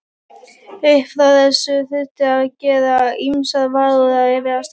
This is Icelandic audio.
Upp frá þessu þurfti að gera ýmsar varúðarráðstafanir.